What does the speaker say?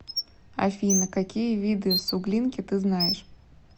афина какие виды суглинки ты знаешь